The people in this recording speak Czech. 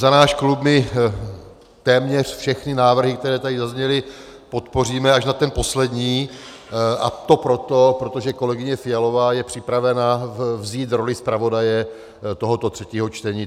Za náš klub - my téměř všechny návrhy, které tady zazněly, podpoříme, až na ten poslední, a to proto, protože kolegyně Fialová je připravena vzít roli zpravodaje tohoto třetího čtení.